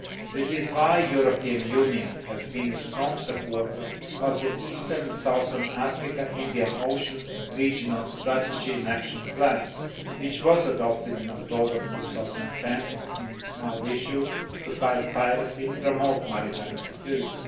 This is why the European Union has been a strong supporter of the Eastern and Southern Africa Indian Ocean Regional Strategy and Action Plan, which was adopted in October 2010 in Mauritius to fight piracy and promote maritime security.